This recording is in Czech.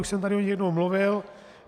Už jsem tady o nich jednou mluvil.